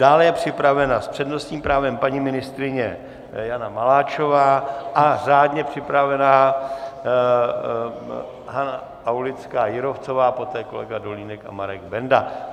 Dále je připravena s přednostním právem paní ministryně Jana Maláčová a řádně přihlášená Hana Aulická Jírovcová, poté kolega Dolínek a Marek Benda.